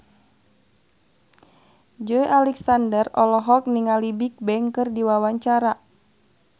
Joey Alexander olohok ningali Bigbang keur diwawancara